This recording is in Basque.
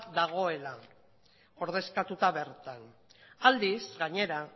dagoela ordezkatuta bertan aldiz gainera